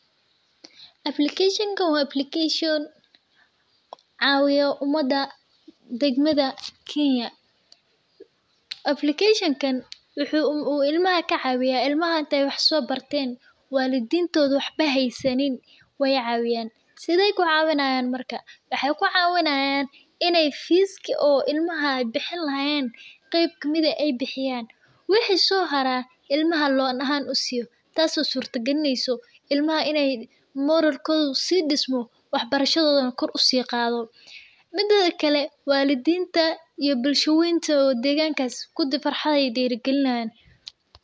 Applicatuon-kan wa application cawiyo umada degmada Kenya . Appliction-kan wuxu ilmaha kacawiyaa ilamaha inta ay wax so barten walidintoda wax hasanin weycawiyan , sideey klucawinayan marka? Waxaay kucawinayaan in ay fis ilmaha bixin lahayen qar kabixiyan tas oo sababeysaah in carurtas farxan tas oo surtagalineyso ilmaha in moralkoda kor usikoco , midideda kale walidinta iyo bulsha weynta bulshadas oo degmadas kudi farxad ay derigalinayan.